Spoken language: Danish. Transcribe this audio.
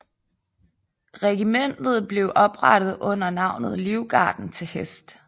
Regimentet blev oprettet under navnet Livgarden til Hest